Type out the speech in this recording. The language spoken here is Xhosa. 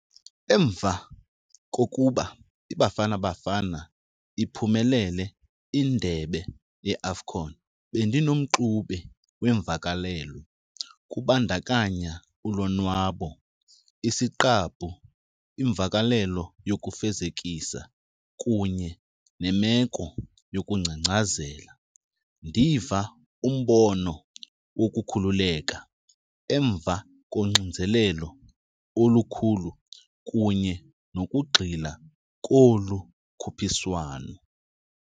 Emva kokuba iBafana Bafana iphumelele indebe yeAFCON bendinomxube wemvakalelo kubandakanya ulonwabo, isiqabu, imvakalelo yokufezekisa kunye nemeko yokungcangcazela. Ndiva umbono wokukhululeka emva koxinzelelo olukhulu kunye nokugxila kolu khuphiswano.